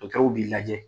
Dɔkitɛrw b'i lajɛ